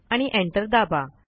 आणि एंटर दाबा